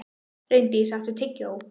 Reyndís, áttu tyggjó?